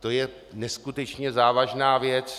To je neskutečně závažná věc.